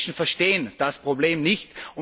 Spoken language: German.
Die Menschen verstehen das Problem nicht.